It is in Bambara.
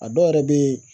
A dɔw yɛrɛ bɛ yen